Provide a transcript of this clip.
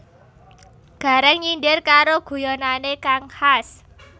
Gareng nyindir karo guyonane kang khas